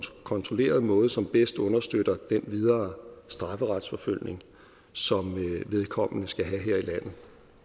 kontrolleret måde som bedst understøtter den videre strafferetsforfølgning som vedkommende skal have her i landet